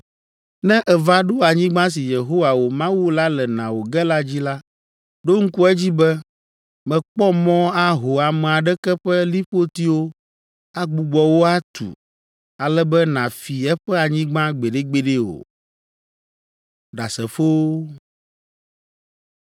“Ne èva ɖo anyigba si Yehowa, wò Mawu la le na wò ge la dzi la, ɖo ŋku edzi be, mèkpɔ mɔ aho ame aɖeke ƒe liƒotiwo agbugbɔ wo atu ale be nàfi eƒe anyigba gbeɖegbeɖe o.”